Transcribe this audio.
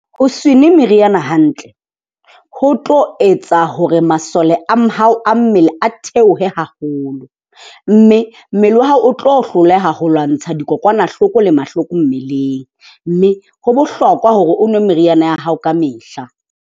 Ho se nwe meriana hantle ho tlo etsa hore masole a hao a mmele a theohe haholo. Mme mmele wa hao o tlo hloleha ho lwantsha dikokwanahloko le mahloko mmeleng. Mme ho bohlokwa hore o nwe meriana ya hao ka mehla.